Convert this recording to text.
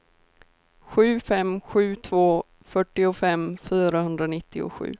sju fem sju två fyrtiofem fyrahundranittiosju